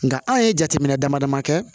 Nka an ye jateminɛ dama dama kɛ